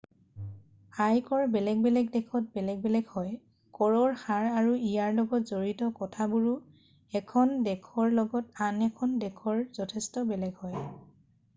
আয়কৰ বেলেগ বেলেগ দেশত বেলেগ বেলেগ হয় কৰৰ হাৰ আৰু ইয়াৰ লগত জড়িত কথাবোৰো 1খন দেশৰ লগত আন এখন দেশৰ যথেষ্ট বেলেগ হয়